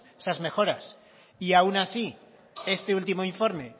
esas mejoras y aun así este último informe